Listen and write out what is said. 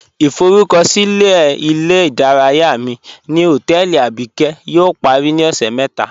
Ìforúkọ̀silẹ̀ ilẹ̀-ìdáràyà mi ni hotẹẹlì Abíkẹ̀ yóò parí ni ọṣẹ́ mẹta